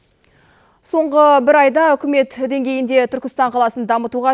соңғы бір айда үкімет деңгейінде түркістан қаласын дамытуға